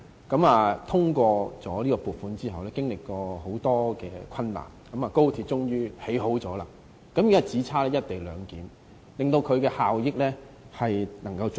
我們通過撥款後，經歷了很多困難，高鐵終於竣工，現在只差"一地兩檢"，才能發揮最大的效益。